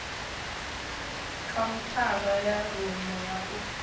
khaunthara ya rumu ya u